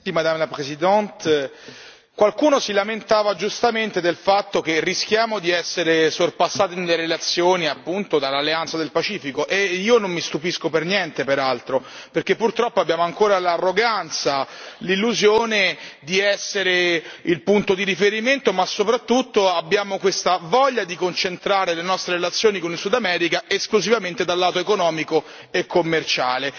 Signora Presidente, onorevoli colleghi, qualcuno si lamentava giustamente del fatto che rischiamo di essere sorpassati nelle relazioni appunto dall'Alleanza del Pacifico. E io non mi stupisco per niente, peraltro, perché purtroppo abbiamo ancora l'arroganza, l'illusione di essere il punto di riferimento, ma soprattutto abbiamo questa voglia di concentrare le nostre relazioni con il Sud America esclusivamente dal lato economico e commerciale.